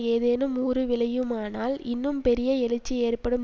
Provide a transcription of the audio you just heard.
ஏதேனும் ஊறு விளையுமானால் இன்னும் பெரிய எழுச்சி ஏற்படும்